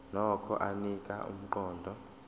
nokho anika umqondo